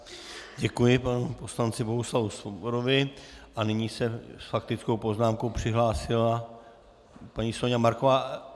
Děkuji panu poslanci Bohuslavu Svobodovi a nyní se s faktickou poznámkou přihlásila paní Soňa Marková.